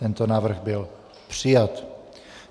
Tento návrh byl přijat.